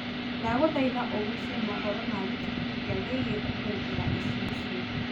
ndagũthaĩtha ũgucie mohoro ma Wikipedia wĩigie kũhuhira icicio